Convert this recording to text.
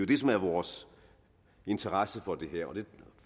det som er vores interesse for det her og det